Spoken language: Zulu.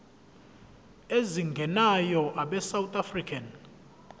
ezingenayo abesouth african